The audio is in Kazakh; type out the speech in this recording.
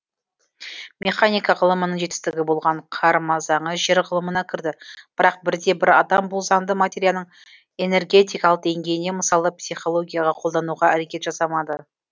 механика ғылымының жетістігі болған қарма заңы жер ғылымына кірді бірақ бірде бір адам бұл заңды материяның энергетикалық деңгейіне мысалы психологияға қолдануға әрекет жасамады